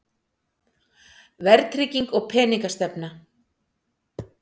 Verðtrygging og peningastefna.